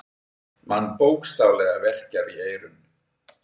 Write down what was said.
Mann bókstaflega verkjar í eyrun.